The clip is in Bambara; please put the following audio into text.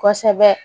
Kosɛbɛ